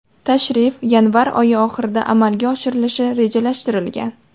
Tashrif yanvar oyi oxirida amalga oshirilishi rejalashtirilgan.